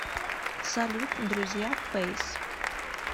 салют друзья фэйс